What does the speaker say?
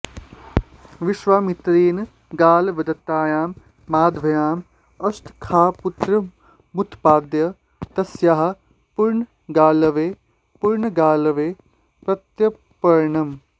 विश्वामित्रेण गालवदत्तायां माधव्यां अष्टकाख्यपुत्रमुत्पाद्य तस्याः पुनर्गालवे पुनर्गालवे प्रत्यर्पणम्